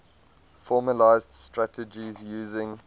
formalised strategies using